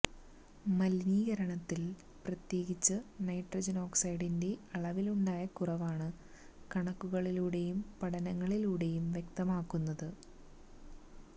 മലിനീകരണത്തില് പ്രത്യേകിച്ച് നൈട്രജന് ഓക്സൈഡിന്റെ അളവിലുണ്ടായ കുറവാണ് കണക്കുകളിലൂടെയും പഠനങ്ങളിലൂടെയും വ്യക്തമാകുന്നത്